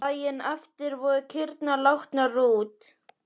Daginn eftir voru kýrnar látnar út.